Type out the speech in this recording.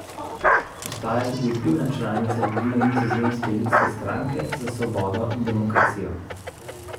Ostaja tudi vplivna članica vodilne nizozemske Ljudske stranke za svobodo in demokracijo.